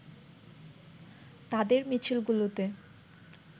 তাদের মিছিলগুলোতে